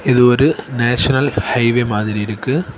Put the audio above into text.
இது ஒரு national highway மாதிரி இருக்கு.